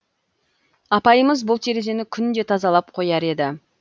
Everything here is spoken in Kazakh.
апайымыз бұл терезені күнде тазалап қояр еді